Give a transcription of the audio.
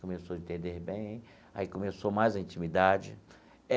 Começou a entender bem, aí começou mais a intimidade.